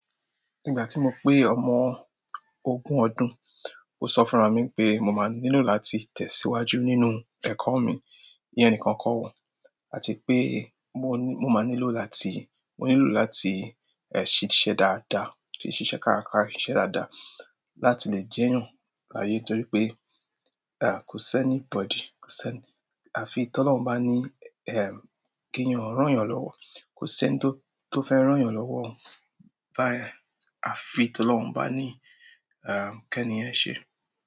Nígbà tí mo pé ọmọ ogún ọdún, mo sọ fúnra mi wípé mo ma nílò láti tẹ̀síwájú nínú ẹ̀kọ́ mi, ìyẹn nìkan kọ́ o, àti pé mo, mo máa nílò láti, mo nílò láti ẹ̀ ṣiṣẹ́ dáadáa, kí n ṣiṣẹ́ kárakára, kí n ṣiṣẹ́ dáadáa, láti le jẹ́yàn láyé torí pé, kò sí anybody, kò sí anybody àfi t'Ọ́lọ́run bá ní kéèyàn ràn yàn lọ́wọ́, kò sẹ́ni tó fẹ́ ràn yàn lọ́wọ́ o, àfi t'Ọ́lọ́run bá ní kẹ́ni yẹn ṣe é.